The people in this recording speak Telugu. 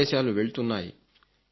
ఆదేశాలు వెళుతున్నాయి